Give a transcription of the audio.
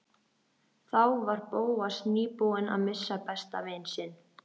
Þá var Bóas nýbúinn að missa besta vin sinn.